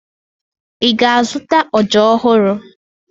Ị ga-azụta ọja ọhụrụ?